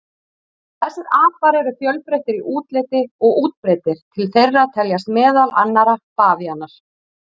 Þessir apar eru fjölbreyttir í útliti og útbreiddir, til þeirra teljast meðal annarra bavíanar.